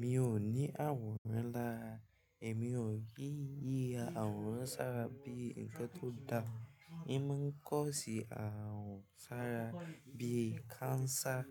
Mi ò ní àrùn rárá, èmi ò kí yi àrùn sárá bí i ǹkan tó da. Imọ ń kọ́ sí àrùn sárá bíi cancer